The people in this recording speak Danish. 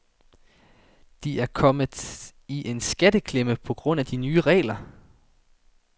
De er kommet i en skatteklemme på grund af de nye regler.